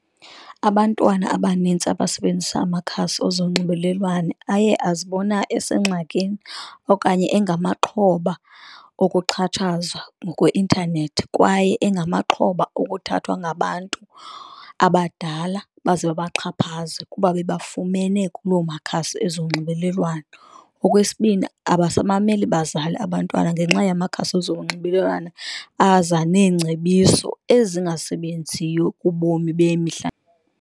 Abantwana abanintsi abasebenzisa amakhasi ezonxibelelwano aye azibona esengxakini okanye engamaxhoba okuxhatshazwa ngokweintanethi, kwaye engamaxhoba okuthathwa ngabantu abadala baze babaxhaphaze kuba bebafumene kulo makhasi ezonxibelelwano. Okwesibini, abasamameli bazali abantwana ngenxa yamakhasi ezonxibelelwano aza neengcebiso ezingasebenziyo kubomi bemihla.